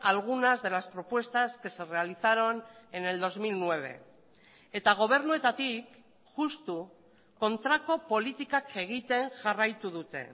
algunas de las propuestas que se realizaron en el dos mil nueve eta gobernuetatik justu kontrako politikak egiten jarraitu dute